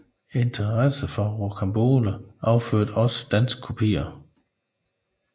Interessen for Rocambole affødte også danske kopier